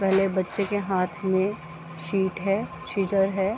पहले बच्चे के हाथ में शीट है सीज़र है।